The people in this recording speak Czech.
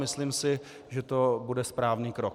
Myslím si, že to bude správný krok.